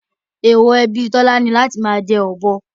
Èèwọ̀ ẹbí Tọ́lá ni láti máa jẹ ọ̀bọ